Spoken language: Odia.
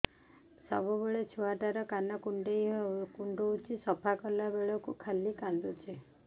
ସବୁବେଳେ ଛୁଆ ଟା କାନ କୁଣ୍ଡଉଚି ସଫା କଲା ବେଳକୁ ଖାଲି କାନ୍ଦୁଚି